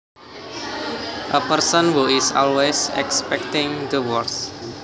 A person who is always expecting the worst